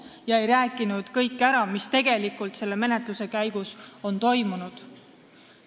Ta ei rääkinud ära kõike, mis tegelikult on selle menetluse käigus toimunud.